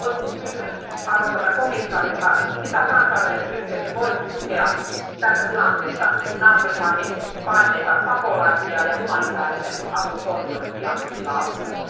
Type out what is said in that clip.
Olisinkin kysynyt arvoisalta komissaarilta, miten kansainvälinen yhteisö voi tukea tässä tilanteessa naapurimaihin paenneita pakolaisia ja humanitaarisen avun koordinointia alueella.